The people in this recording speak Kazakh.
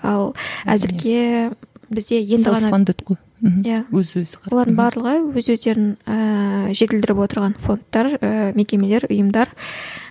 ал әзірге бізде енді ғана олардың барлығы өз өздерін ііі жетілдіріп отырған фондтар ыыы мекемелер ұйымдар